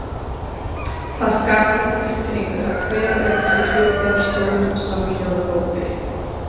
Það skapar þá tilfinningu að hver og einn sé hluti af stórum samhljóða hópi.